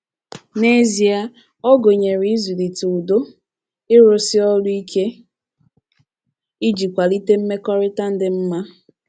N’ezie, ọ gụnyere ịzụlite ùdó, ịrụsi ọrụ ike iji kwalite mmekọrịta dị mma.